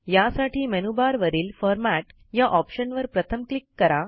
यासाठी मेनूबारवरील फॉर्मॅट या ऑप्शनवर प्रथम क्लिक करा